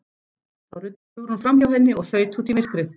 Þá ruddist Hugrún framhjá henni og þaut út í myrkrið.